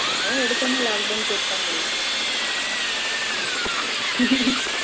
அதான் எடுத்த உடனே lockdown போட்டுட்டாங்களே